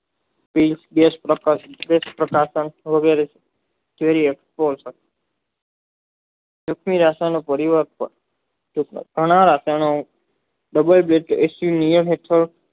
જે તે રસાયણ માં પરિવર્તન બધાય દેશો